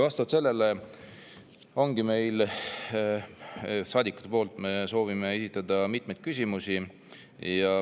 Seetõttu ongi meil saadikutena mitmeid küsimusi, mida soovime esitada.